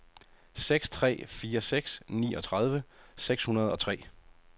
seks tre fire seks niogtredive seks hundrede og tre